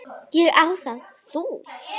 Ég á það. Þú?